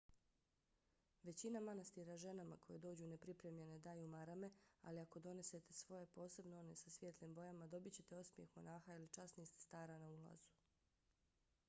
većina manastira ženama koje dođu nepripremljene daju marame ali ako donesete svoje posebno one sa svijetlim bojama dobićete osmijeh monaha ili časnih sestara na ulazu